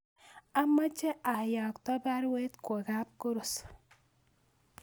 Amache ayakto baruet kwo kap Koros